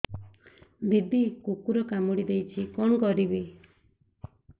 ଦିଦି କୁକୁର କାମୁଡି ଦେଇଛି କଣ କରିବି